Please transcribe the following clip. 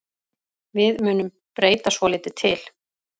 Við munum breyta svolítið til.